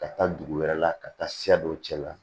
Ka taa dugu wɛrɛ la ka taa siya dɔw cɛ la